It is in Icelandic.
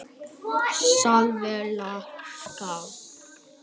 Selfjallaskála